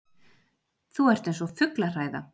Þú ert eins og fuglahræða!